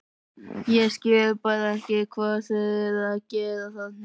Ég skil bara ekki hvað þeir eru að gera þarna?